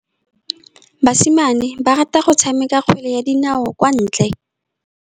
Basimane ba rata go tshameka kgwele ya dinaô kwa ntle.